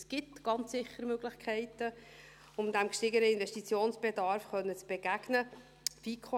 Es gibt ganz sicher Möglichkeiten, um diesem gestiegenen Investitionsbedarf begegnen zu können.